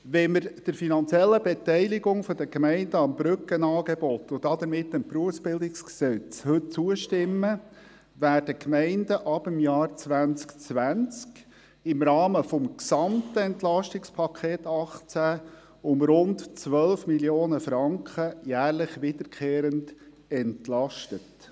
Wenn wir heute der finanziellen Beteiligung der Gemeinden am Brückenangebot und damit dem BerG zustimmen, werden die Gemeinden ab dem Jahr 2020 im Rahmen des gesamten EP 2018 um rund 12 Mio. Franken jährlich wiederkehrend entlastet.